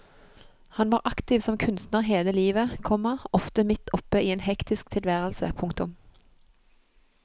Han var aktiv som kunstner hele livet, komma ofte midt oppe i en hektisk tilværelse. punktum